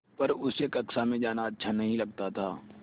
पर उसे कक्षा में जाना अच्छा नहीं लगता था